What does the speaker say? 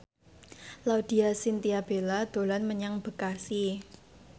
Laudya Chintya Bella dolan menyang Bekasi